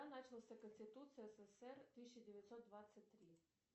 начался конституция ссср тысяча девятьсот двадцать три